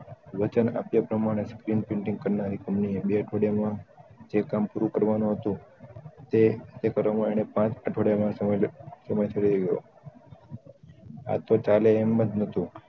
અને screen printing કરનારી કમ્પનીએ બે અઠવાડિયા માં એ કામ પૂરું કરવાનું હતું તે એ કરવા માં તેને પાંચ અઠવાડિયા નો સમય લાગી ગયો આતો ચાલે એમજ નતું